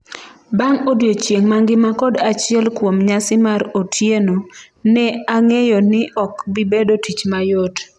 "Bang' odiechieng' mangima kod achiel kuom nyasi mar otieno, ne ang'eyo ni ok bibedo tich mayot."